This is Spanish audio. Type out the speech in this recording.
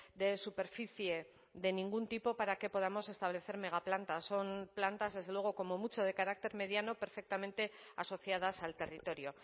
de superficie de ningún tipo para que podamos establecer megaplantas son plantas desde luego como mucho de carácter mediano perfectamente asociadas al territorio